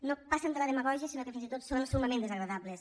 no passen de la demagògia sinó que fins i tot són summament desagradables